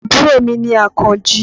Àbúrò mi ni Àkànjí.